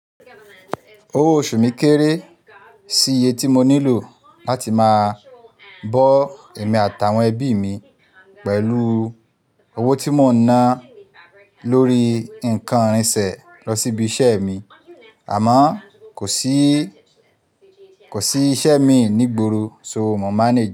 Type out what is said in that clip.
Owó oṣù mi kéré sí iye tí mo nílò láti máa bọ ẹ̀mí àtàwọn ẹbí mi pẹ̀lúu owó tí mò ń ná lórí i nǹkan ìrìnsẹ̀ lọ sí ibi iṣẹ́ mi, àmọ́ kò síi, kò sí iṣẹ́ mii nìgboro, so mò manage,